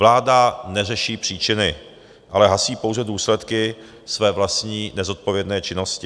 Vláda neřeší příčiny, ale hasí pouze důsledky své vlastní nezodpovědné činnosti.